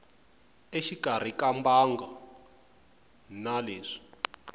exikarhi ka mbangu na leswi